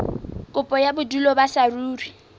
kopo ya bodulo ba saruri